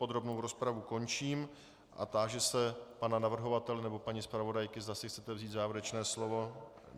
Podrobnou rozpravu končím, a táži se pana navrhovatele nebo paní zpravodajky, zda si chcete vzít závěrečné slovo.